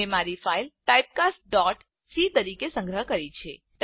મેં મારી ફાઈલ typecastસી તરીકે સંગ્રહ કરી છે